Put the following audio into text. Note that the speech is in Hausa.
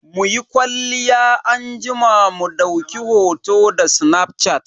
Muyi kwalliya anjima mu dauki hoto da snafshat.